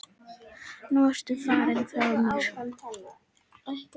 Nú ertu farinn frá mér.